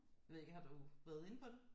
Jeg ved ikke har du været inde på det